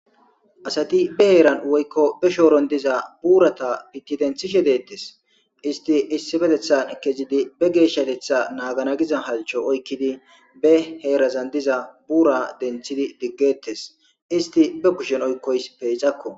asati be heeran woykko be shooron diza buurata piti denthishe deettes isti issibetethan ekezidi be geeshshatetha naagana giza halcho oykkidi be heerazan diza buura denthidi diggetes isti be kushen oykkoys peecakko